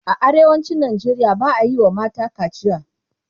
a arewacin Nigeria ba'a Yi wa mata kaciya